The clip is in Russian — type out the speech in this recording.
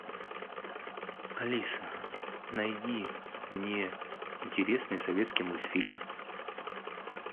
алиса найди мне интересные советские мультфильмы